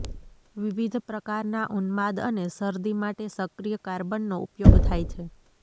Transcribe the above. વિવિધ પ્રકારના ઉન્માદ અને શરદી માટે સક્રિય કાર્બનનો ઉપયોગ થાય છે